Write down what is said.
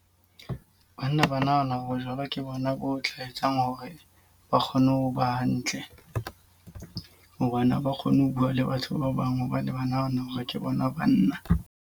Banna ba nahana bojwala ke bona bo tla etsang hore ba kgone ho ba hantle. Hobane ha ba kgone ho bua le batho ba bang hobane ba nahana hore ke bona banna.